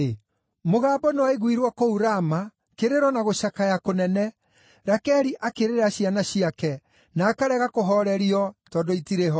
“Mũgambo nĩwaiguirwo kũu Rama, kĩrĩro na gũcakaya kũnene, Rakeli akĩrĩrĩra ciana ciake, na akarega kũhoorerio, tondũ itirĩ ho.”